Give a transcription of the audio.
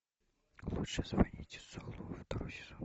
лучше звоните солу второй сезон